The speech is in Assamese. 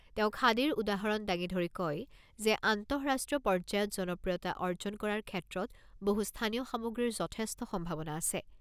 তেওঁ খাদীৰ উদাহৰণ দাঙি ধৰি কয় যে, আন্তঃৰাষ্ট্ৰীয় পৰ্যায়ত জনপ্ৰিয়তা অৰ্জন কৰাৰ ক্ষেত্ৰত বহু স্থানীয় সামগ্ৰীৰ যথেষ্ট সম্ভাৱনা আছে।